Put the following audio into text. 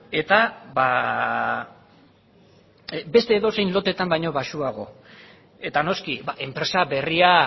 eta beste edozein loteetan baino baxuago eta noski enpresa berria